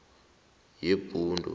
yebhundu